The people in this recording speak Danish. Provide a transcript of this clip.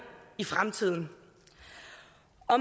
i fremtiden